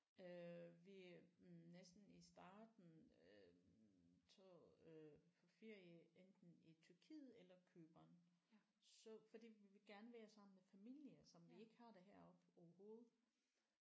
Øh vi næsten i starten øh tog øh på feire enten i Tyrkiet eller Cypern så fordi vi ville gerne være sammen med familie som vi ikke har det heroppe overhovedet